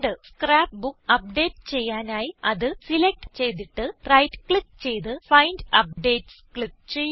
scrap book update ചെയ്യാനായി അത് select ചെയ്തിട്ട് റൈറ്റ് ക്ലിക്ക് ചെയ്ത് ഫൈൻഡ് അപ്ഡേറ്റ്സ് ക്ലിക്ക് ചെയ്യുക